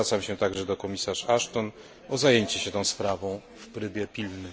Zwracam się także do komisarz Ashton o zajęcie się tą sprawą w trybie pilnym.